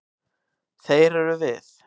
Þeir eru við.